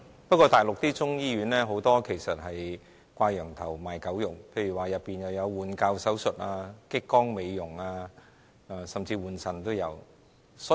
不過，大陸很多中醫醫院其實是"掛羊頭，賣狗肉"，例如中醫醫院內有換骹手術、激光美容，甚至換腎手術。